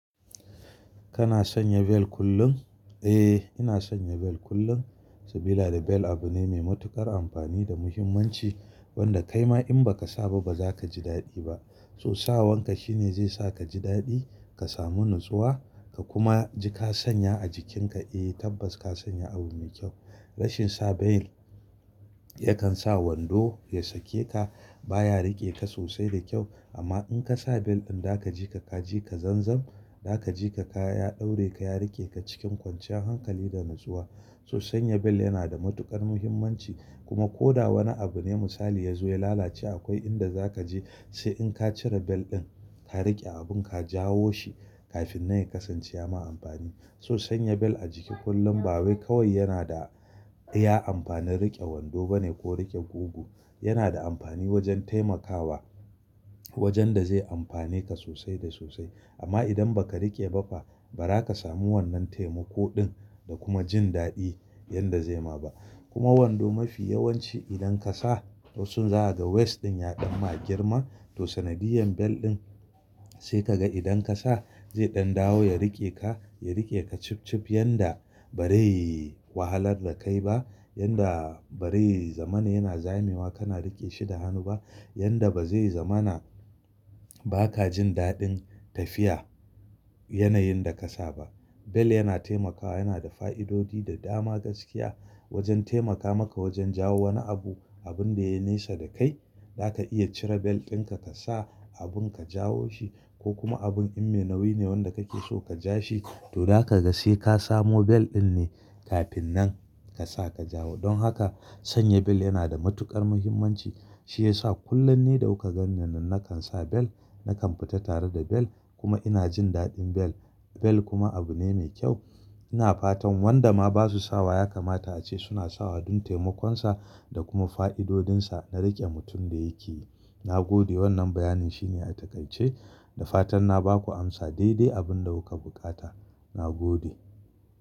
Kana sanya bel kullum? Eh, ina sanya bel kullum. Saboda bel abu ne mai matuƙar amfani da muhimmanci wanda kaima in ba ka sa ba ba za ka ji daɗi ba. To sa wanka shine zai sa ka ji daɗi, ka samu natsuwa ka kuma ji ka sanya a jikinka. Eh tabbas ka sanya abu mai kyau. Rashin sa bel yakan sa wando ya sake ka, baya riƙe ka sosai da kyau. Amma in ka sa bel in za ka je ka ka je ka zanzan, za ka je ka ya daure ka ya riƙe ka cikin kwanciyar hankali da natsuwa. To sanya bel yana da matuƙar muhimmanci kuma ko da wani abu ne misali ya zo ya lalace akwai inda za ka je sai in ka cire bel ɗin ka riƙe abun ka jawo shi kafin nan ya kasance ya ma amfani. To sanya bel a jiki kullum ba wai kawai yana da ya amfanar riƙe wando bane ko riƙe gogu. Yana da amfani wajen taimakawa wajen da zai amfane ka sosai da sosai. Amma idan ba ka riƙe ba fa ba za ka samu wannan taimako ɗin da kuma jin daɗi yadda zai ma ba. Kuma wando mafi yawanci idan ka sa wasun za a ga waist ɗin ya ɗan ma girma. To sanadiyan bel ɗin sai ka ga idan ka sa zai ɗan dawo ya riƙe ka, ya riƙe ka chup chup yadda ba dai wahalar da kai ba, yadda ba dai zamani yana zamewa kana riƙe shi da hannu ba, yadda ba zai zamana ba ka jin daɗin tafiya yanayin da ka sa ba. Bel yana taimakawa yana da fa'idodi da dama gaskiya wajen taimaka maka wajen jawo wani abu abun da ya nesa da kai. Za ka iya cire bel ɗinka ka sa abun ka jawo shi ko kuma abun in me nauyi ne wanda kake so ka ja shi to za ka ga sai ka samu bel ɗin ne kafin nan ka sa ka jawo. Don haka sanya bel yana da matuƙar muhimmanci. Shi ya sa kullum ne da kuka gan ni nan nakan sa bel, nakan fita tare da bel kuma ina jin daɗin bel. Bel kuma abu ne mai kyau. Ina fatan wanda ma basu sawa ya kamata a ce suna sawa don taimakonsa da kuma fa'idodinsa na riƙe mutum da yake yi. Na gode wannan bayanin shine a takaice da fatan na ba ku amsa daidai abin da kuka buƙata. Na gode.